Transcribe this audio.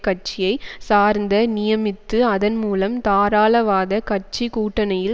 கட்சியை சார்ந்த நியமித்து அதன் மூலம் தாராளவாத கட்சி கூட்டணியில்